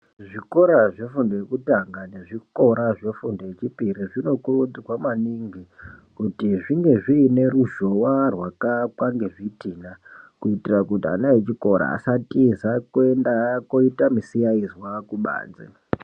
Zvikora zvefundo yekutanga nezvikora zvefundo yechipiri zvinokurudzirwa maningi kuti zvinge zvine ruzhowa rwakawakwa ngezvidhina kutira kuti ana echikora vasa tiza kuno ita misiyakunzwa kubanze.